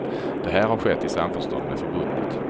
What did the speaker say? Det här har skett i samförstånd med förbundet.